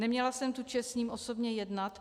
Neměla jsem tu čest s ním osobně jednat.